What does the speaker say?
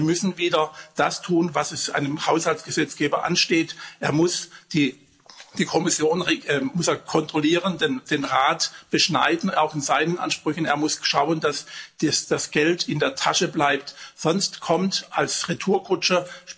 Wir müssen wieder das tun, was einem Haushaltsgesetzgeber ansteht Er muss die Kommission kontrollieren, den Rat beschneiden auch in seinen Ansprüchen er muss schauen, dass das Geld in der Tasche bleibt, sonst kommt die Retourkutsche.